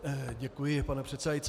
Děkuji, pane předsedající.